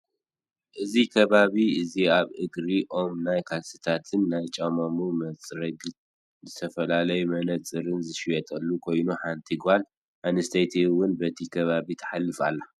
እዚ ከባቢ እዚኣብ እግሪ ኦም ናይ ካልሲታትን ናይ ጫማታት መፅረግን ዝተፈላለዩ መነፀርን ዝሽየጠሉ ኮይኑ ሓንቲ ጓል ኣነስተይቲ እውን በቲ ከባቢ ተሓልፍ ኣለ።